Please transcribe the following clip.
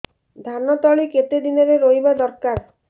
ଧାନ ତଳି କେତେ ଦିନରେ ରୋଈବା ଦରକାର